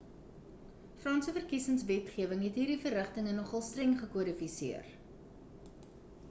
franse verkiesingswetgewing het hierdie verrigtinge nogal streng gekodifiseer